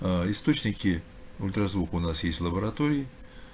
аа источники ультразвука у нас есть лаборатории